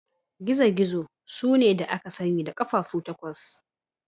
Gizo-gizo sune da aka sani da ƙafafu takwas.